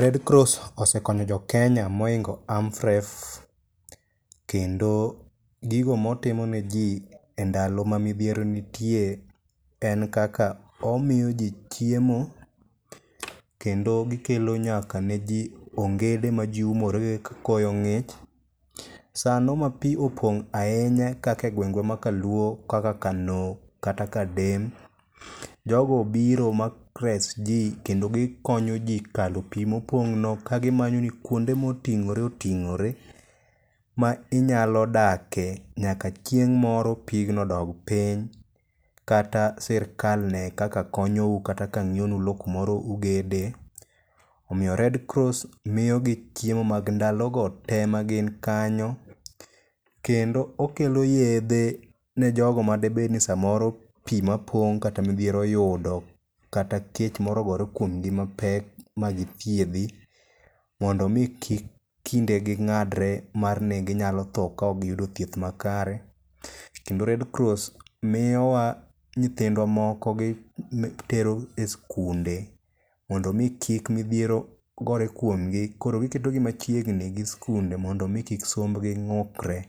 Red Cross osekonyo jo Kenya mohingo AMREF kendo gigo motimo neji endalo ma midhiero nitie en kaka omiyoji chiemo kendo gikelo nyaka ne ji ongede maji umore kakoyo ng'ich. Sano ma pi opong' ahinya kaka e gweng'wa makaluo kaka Kano kata Kadem. Jogo biro kendo gikonyo ji kalo pi mopong'no ka gimanyoni kuonde ma oting'ore oting'ore nyaka chieng' moro pigno dog piny kata sirka ne kaka konyou kata ka ng'iewonu lowo kamoro ugede. Omiyo Red Cross miyo ji chiemo mag ndalogo tee magin kanyo kendo okelo yedhe ne jogo ma samoro pi mapong' kata midhiero oyudo kata kech moro ogore kuom gi mapek magithiedhi mondo mi kik kindegi ng'adre mar ni ginyalo tho kaok giyudo thieth makare. Kendo Red Cross miyowa nyindwa moko gitero e sikunde mondo mi kik midhiero gore kuom gi kendo giketogi machiegni gi sikunde mondo mi kik sombgi ng'ukre.